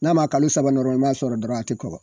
N'a ma kalo saba sɔrɔ dɔrɔn a te kɔgɔ.